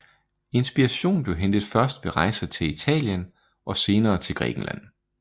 Inspiration blev hentet først ved rejser til Italien og senere til Grækenland